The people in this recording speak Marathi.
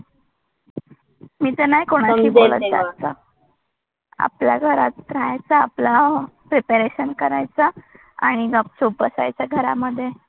मी तर नाही कोणाशी बोलत जास्त. आपल्या घरात राहायचं, आपला प्रिपरेशन करायचा आणि गपचूप बसायचं घरामध्ये.